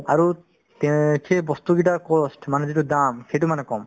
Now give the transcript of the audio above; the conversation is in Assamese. আৰু তে সেই বস্তুকেইটাৰ cost মানে যিটো দাম সেইটো মানে কম